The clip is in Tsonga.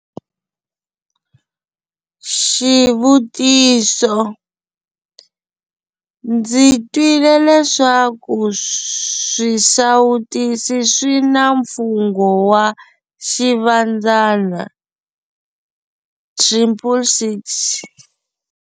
Xivutiso- Ndzi twile leswaku swisawutisi swi na mfungho wa Xivandzana - 666.